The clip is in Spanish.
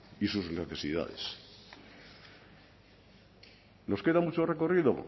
y sus necesidades nos queda mucho recorrido